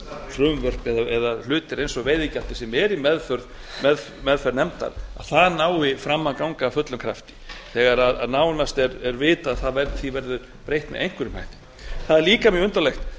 frumvörp eða hlutir eins og veiðigjaldið sem er í meðferð nefndar nái fram að ganga af fullum krafti þegar nánast er vitað að því verður breytt með einhverjum hætti það er líka mjög undarlegt